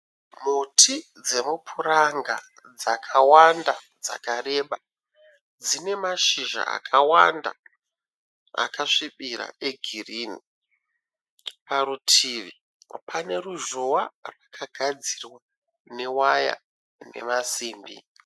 Muti dzemupuranga dzakawanda dzakareba. Dzine mashizha akawanda akasvibira egirinhi. Parutivi pane ruzhowa rwakagadzirwa newaya nemasimbi.